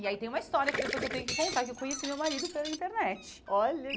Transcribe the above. E aí tem uma história que depois eu tenho que contar, que eu conheci meu marido pela internet. Olha